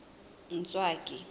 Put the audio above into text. ntswaki